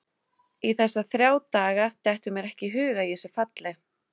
Í þessa þrjá daga dettur mér ekki í hug að ég sé falleg.